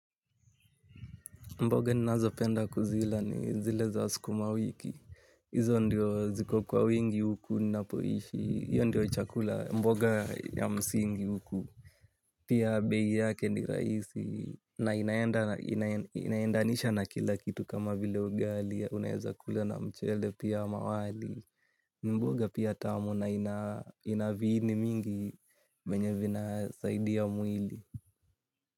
Mboga ninazopenda kuzila ni zile za sukuma wiki. Hizo ndizo zikokuwa wingi huku ninaishi. Hiyo ndiyo chakula mboga ya msingi huku. Pia bei yake ni rahisi. Na inaendanisha na kila kitu kama vile ugali. Unaweza kula na mchele pia ama wali. Mboga pia tamu na inaviini mingi. Yenye ina saidia mwili.